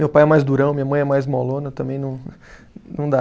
Meu pai é mais durão, minha mãe é mais molona, também não não dá.